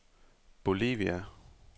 Bolivia